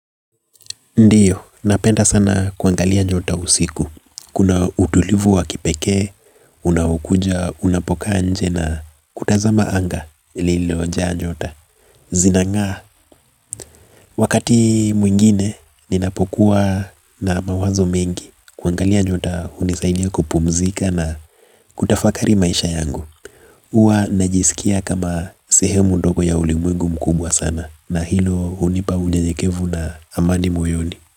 Ndio, napenda sana kuangalia nyota usiku. Kuna utulivu wa kipekee, unaokuja, unapokaa nje na kutazama anga lililo jaa nyota. Zinangaa, wakati mwingine, ninapokuwa na mawazo mengi. Kuangalia nyota, hunisaidia kupumzika na kutafakari maisha yangu. Huwa najisikia kama sehemu ndogo ya ulimwengu mkubwa sana. Na hilo hunipa unyeyekevu na amani moyoni.